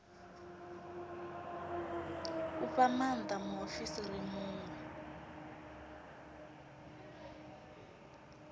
u fha maanda muofisiri muṅwe